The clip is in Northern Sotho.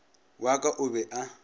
wa ka o be a